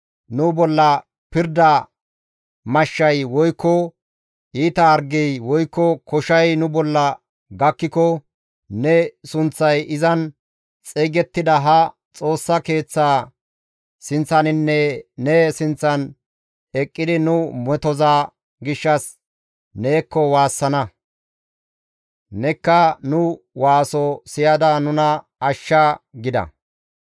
‹Nu bolla pirda mashshay, woykko iita hargey, woykko koshay nu bolla gakkiko ne sunththay izan xeygettida ha Xoossa Keeththa sinththaninne ne sinththan eqqidi nu metoza gishshas neekko waassana; nekka nu waaso siyada nuna ashshana› gida.